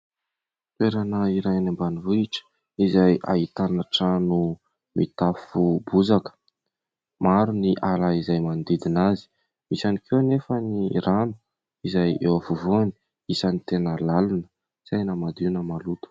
Toerana iray any ambanivohitra izay ahitana trano mitafo bozaka, maro ny ala izay manodidina azy, misy ihany koa anefa ny rano izay eo afovoany, isany tena lalina tsy hay na madio na maloto.